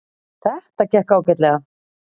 Þetta gekk ágætlega